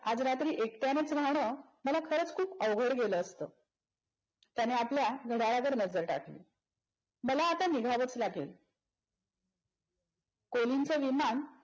आज रात्री एकट्यानेच राहणं मला खरंच खूप अवघड गेला असत. त्यांनी आपल्या घड्याळकडे नजर टाकली. मला आता निघावच लागेल. कोलिनचे विमान